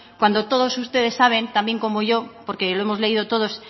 cuando todos ustedes saben también como yo porque lo hemos leído todos